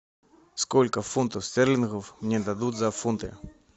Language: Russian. сколько фунтов стерлингов мне дадут за фунты